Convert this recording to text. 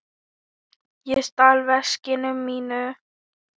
Hann stal veskinu mínu.